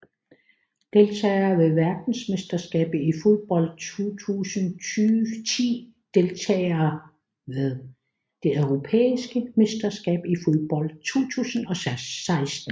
Deltagere ved verdensmesterskabet i fodbold 2010 Deltagere ved det europæiske mesterskab i fodbold 2016